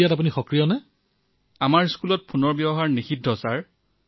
মায়ে কিমান পঢ়িছে